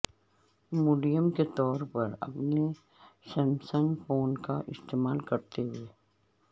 modem کے طور پر اپنے سیمسنگ فون کا استعمال کرتے ہوئے